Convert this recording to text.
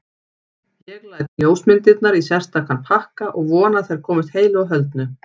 Ég læt ljósmyndirnar í sérstakan pakka og vona að þær komist heilu og höldnu.